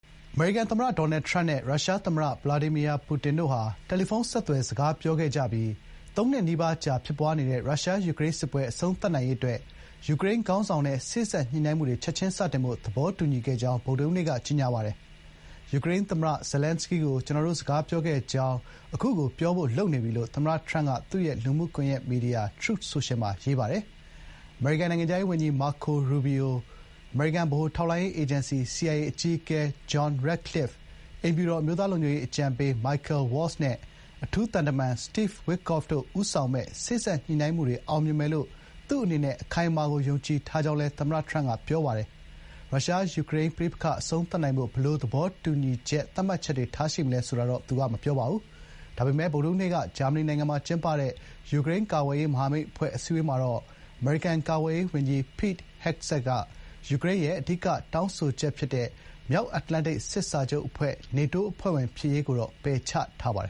အမေရိကန်သမ္မတ ဒေါ်နယ်ထရမ့်နဲ့ ရုရှား သမ္မတ ဗလာဒီမီယာ ပူတင်တို့ဟာ တယ်လီဖုန်း ဆက်သွယ် စကားပြောခဲ့ကြပြီး သုံးနှစ်နီးပါးကြာ ဖြစ်ပွားနေတဲ့ ရုရှား-ယူကရိန်းစစ်ပွဲ အဆုံးသတ်နိုင်ရေးအတွက် ယူကရိန်းခေါင်းဆောင်နဲ့ စေ့စပ်ညှိနှိုင်းမှုတွေ “ချက်ချင်း” စတင်ဖို့ သဘောတူညီခဲ့ကြောင်း ဗုဒ္ဓဟူးနေ့က ကြေညာလိုက်ပါတယ်။ “ယူကရိန်းသမ္မတ Zelenskyy ကို ကျနော်တို့ စကားပြောခဲ့ကြောင်းကို အခုကိုပြောဖို့ လုပ်နေပြီ ” လို့ သမ္မတထရမ့်က သူ့ရဲ့ လူမှုကွန်ရက်မီဒီယာ Truth Social မှာ ရေးသားထားပါတယ်။ အမေရိကန် နိုင်ငံခြားရေးဝန်ကြီး Marco Rubio၊ အမေရိကန် ဗဟိုထောက်လှမ်းရေး အေဂျင်စီ CIA အကြီးအကဲ John Ratcliffe၊ အိမ်ဖြူတော် အမျိုးသား လုံခြုံရေး အကြံပေး Michael Waltz နဲ့ အထူးသံတမန် Steve Witkoff တို့ ဦးဆောင်မယ့် စေ့စပ်ညှိနှိုင်းမှုတွေ အောင်မြင်မယ်လို့ သူ့အနေနဲ့ အခိုင်အမာကို ယုံကြည်ထားကြောင်းလည်း သမ္မတ ထရမ့်က ပြောပါတယ်။ ရုရှား-ယူကရိန်း ပဋိပက္ခအဆုံးသတ်နိုင်ဖို့ ဘယ်လို သဘောတူညီချက် သတ်မှတ်ချက်တွေ ထားရှိမလဲ ဆိုတာတော့ သူက မပြောပါဘူး။ ဒါပေမယ့် ဗုဒ္ဓဟူးနေ့က ဂျာမနီနိုင်ငံမှာ ကျင်းပတဲ့ယူကရိန်း ကာကွယ်ရေး မဟာမိတ် အဖွဲ့ အစည်းအဝေးမှာတော့ အမေရိကန် ကာကွယ်ရေးဝန်ကြီး Pete Hegseth က ယူကရိန်းရဲ့ အဓိက တောင်းဆိုချက်ဖြစ်တဲ့ မြောက်အတ္တလန္တိတ် စစ်စာချုပ် အဖွဲ့ NATO အဖွဲ့ဝင် ဖြစ်ရေး ကိုတော့ ပယ်ချထားပါတယ